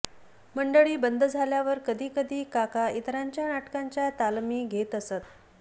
मंडळी बंद झाल्यावर कधीकधी काका इतरांच्या नाटकांच्या तालमी घेत असत